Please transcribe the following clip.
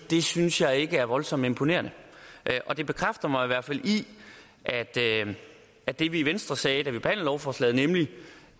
det synes jeg ikke er voldsomt imponerende det bekræfter mig i hvert fald i at det vi i venstre sagde da vi lovforslaget nemlig